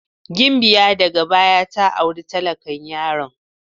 Gimbiya daga baya ta auri talakan yaron.